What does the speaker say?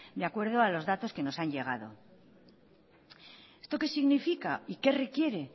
de acuerdo a los datos que nos han llegado esto qué significa y qué requiere